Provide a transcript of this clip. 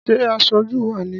Ṣé aṣojú wá ni?